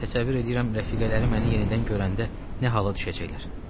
Təsəvvür eləyirəm, rəfiqələri məni yenidən görəndə nə hala düşəcəklər.